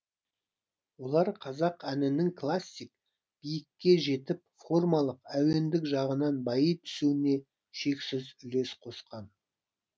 олар қазақ әнінің классик биікке жетіп формалық әуендік жағынан байи түсуіне шексіз үлес қосқан